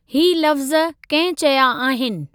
ही लफ़्ज़ कंहिं चया आहिनि?